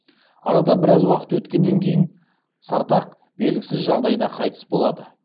арада біраз уақыт өткеннен кейін сартақ белгісіз жағдайда қайтыс болады